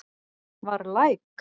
Var læk